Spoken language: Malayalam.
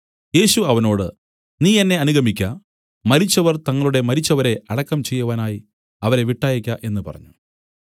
യേശു അവനോട് നീ എന്നെ അനുഗമിക്ക മരിച്ചവർ തങ്ങളുടെ മരിച്ചവരെ അടക്കം ചെയ്യുവാനായി അവരെ വിട്ടയയ്ക്ക എന്നു പറഞ്ഞു